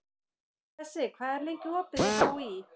Bessi, hvað er lengi opið í HÍ?